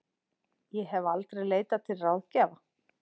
Ég hef aldrei leitað til ráðgjafa.